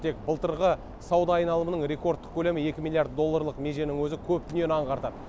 тек былтырғы сауда айналымының рекордтық көлемі екі милллиард долларлық меженің өзі көп дүниені аңғартады